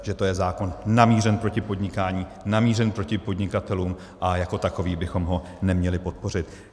Že to je zákon namířený proti podnikání, namířený proti podnikatelům a jako takový bychom ho neměli podpořit.